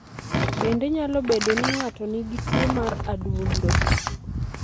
Bende nyalo bedo ni ng'ato nigi tuwo mar adundo.